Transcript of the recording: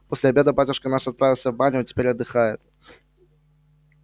после обеда батюшка наш отправился в баню а теперь отдыхает